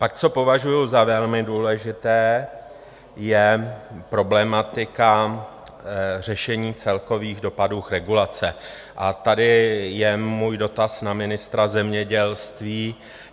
Pak co považuji za velmi důležité, je problematika řešení celkových dopadů regulace, a tady je můj dotaz na ministra zemědělství.